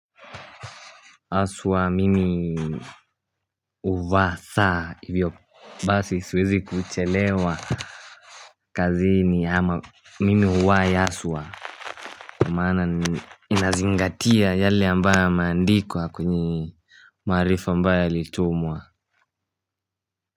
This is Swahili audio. Haswa mimi huvaa saa hivyo basi siwezi kuchelewa kazini ama mimi huwaya yaswa kwa maana inazingatia yale ambayo mandikwa kwenye maarifa ambayo yalitumwa.